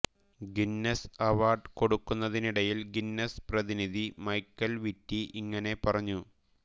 Guinness award കൊടുക്കുന്നതിനിടയിൽ Guinness പ്രതിനിധി Michael Whitty ഇങ്ങനെ പറഞ്ഞു